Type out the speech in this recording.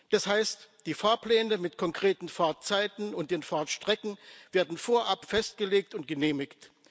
Das heißt, die Fahrpläne mit konkreten Fahrzeiten und den Fahrtstrecken werden vorab festgelegt und genehmigt.